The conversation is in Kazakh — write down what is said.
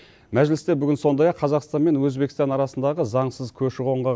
мәжілісте бүгін сондай ақ қазақстан мен өзбекстан арасындағы заңсыз көші қонға